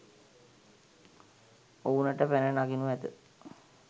ඔවුනට පැන නගිනු ඇත